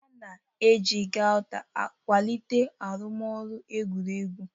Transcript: A na-eji Gauta kwalite arụmọrụ egwuregwu.